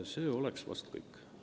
See oleks vahest kõik.